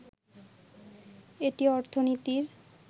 এটি অর্থনীতির